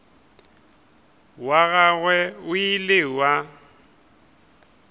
wa gagwe o ile wa